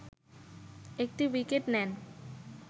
১টি উইকেট নেন